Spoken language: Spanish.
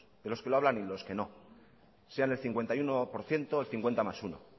de los que lo hablan y de los que no sean el cincuenta y uno por ciento el cincuenta más uno